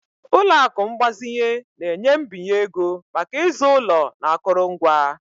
Ụlọ akụ mgbazinye na-enye mbinye ego maka ịzụ ụlọ na akụrụngwa.